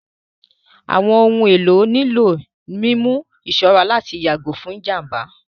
Àwọn ohun èlò nílò mímú ìṣọ́ra láti yàgò fún ìjàmbá